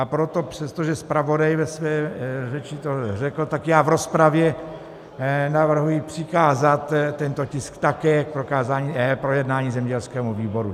A proto přestože zpravodaj ve své řeči to řekl, tak já v rozpravě navrhuji přikázat tento tisk také k projednání zemědělskému výboru.